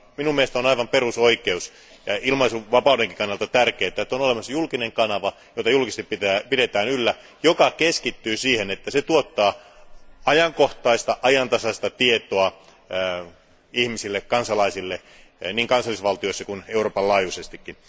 Mielestäni on aivan perusoikeus ja ilmaisunvapaudenkin kannalta tärkeää, että on olemassa julkinen kanava, jota julkisesti pidetään yllä ja joka keskittyy siihen, että se tuottaa ajankohtaista ja ajantasaista tietoa kansalaisille niin kansallisvaltioissa kuin Euroopan laajuisestikin.